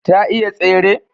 ta iya tsere?